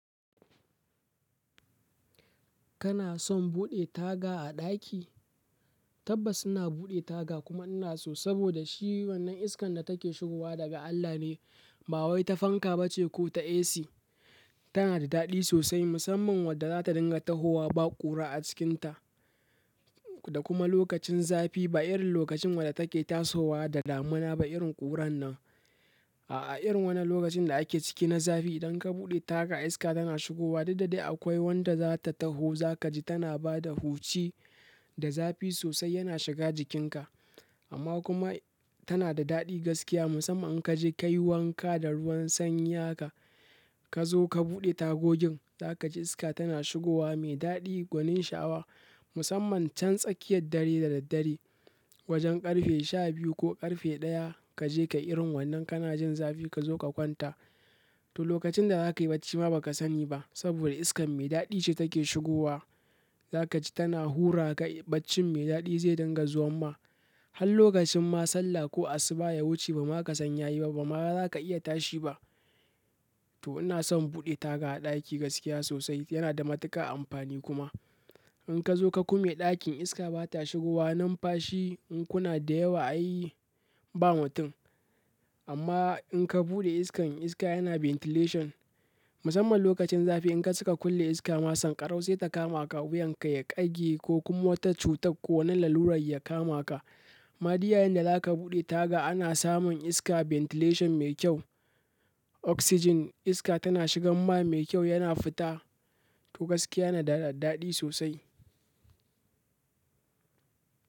Kana son buɗe taga a ɗaki? Tabbas ina buɗe taga kuma ina so saboda shi wannan iskan da take shigowa daga Allah ne, ba wai ta fanka ba ce ko ta AC. Tana da daɗi sosai musamman wadda za ta dinga tahowa ba ƙura a cikinta. Da kuma lokacin zafi ba irin lokacin wadda take tasowa da damuna da irin ƙuran nan. Aa, irin wannan lokacin da ake ciki na zafi idan ka buɗe taga iska tana shigowa, duk da dai akwai wanda zata taho zaki tana bada huci da zafi sosai yana shiga jikinka. Amma kuma tana da daɗi gaskiya musamman in ka je ka yi wanka da ruwan sanyi haka, ka zo ka buɗe tagogin za ka ji iska tana shigowa mai daɗi gwanin shawa musamman can tsakiyar dare da daddare wajen ƙarfe sha biyu ko ƙarfe ɗaya ka je ka irin wannan kana jin zafi ka zo ka kwanta. To lokacin da za ka yi bacci ma ba ka sani ba saboda iskan mai daɗi ce take shigowa. Za ka ji tana hura ka bacci mai daɗi zai dinga zuwan ma. Har lokacin ma salla ko asuba ya wuce ba ma ka san ya yi ba, ba ma za ka iya tashi ba. To ina son buɗe taga a ɗaki gaskiya sosai yana da matuƙa amfani kuma. In ka zo ka ƙume ɗakin iska ba ta shigowa nan fashi in kuna da yawa ai ba mutum. Amma in ka buɗe iskan iska yana ventilation musamman lokacin zafi in ka suka kulle iska ma sankarau sai ta kama ka wuyanka ya ƙage ko kuma wata cutar ko wani lalurar ya kama ka. Amma duk yayin da zaka buɗe taga ana samun iska ventilation mai kyau, oxygen iska tana shigan ma mai kyau yana fita. To gaskiya da daɗi sosai.